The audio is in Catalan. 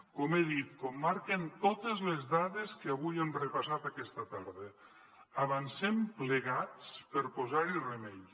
com he dit com marquen totes les dades que avui hem repassat aquesta tarda avancem plegats per posar hi remei